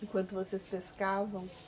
Enquanto vocês pescavam?